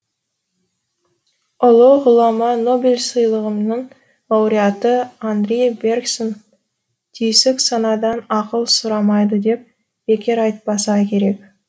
ұлы ғұлама нобель сыйлығының лауреаты анри берксон түйсік санадан ақыл сұрамайды деп бекер айтпаса керек